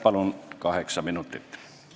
Palun kaheksa minutit!